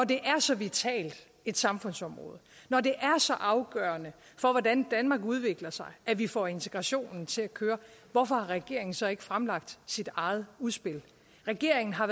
det er så vitalt et samfundsområde når det er så afgørende for hvordan danmark udvikler sig at vi får integrationen til at køre hvorfor har regeringen så ikke fremlagt sit eget udspil regeringen har